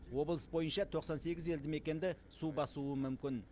облыс бойынша тоқсан сегіз елді мекенді су басуы мүмкін